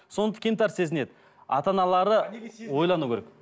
кемтар сезінеді ата аналары ойлану керек